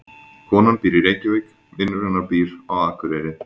Konan býr í Reykjavík. Vinur hennar býr á Akureyri.